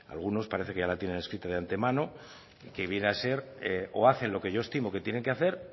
algunos parece que ya la tienen escrita de antemano que viene a ser o hacen lo que yo estimo que tienen que hacer